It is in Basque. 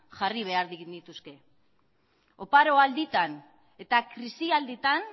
jarri behar genituzke oparo alditan eta krisialdietan